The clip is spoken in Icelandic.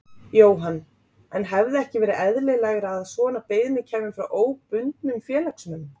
Jóhann: En hefði ekki verið eðlilegra að svona beiðni kæmi frá óbundnum félagsmönnum?